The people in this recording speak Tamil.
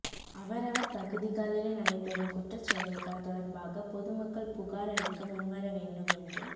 அவரவர் பகுதிகளில்நடைபெறும் குற்றச் செயல்கள் தொடர்பாக பொதுமக்கள் புகார் அளிக்க முன்வரவேண்டும் என்று